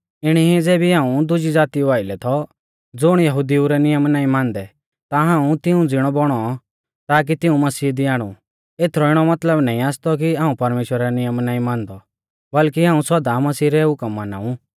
इणी ई ज़ेबी हाऊं दुज़ी ज़ातिऊ आइलै थौ ज़ुण यहुदिऊ रै नियम नाईं मानदै ता हाऊं तिऊं ज़िणौ बौणौ ताकि तिऊं मसीह दी आणु एथरौ इणौ मतलब नाईं आसतौ कि हाऊं परमेश्‍वरा रै नियम नाईं मानदौ बल्कि हाऊं सौदा मसीह रै हुकम माना ऊ